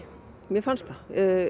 mér fannst það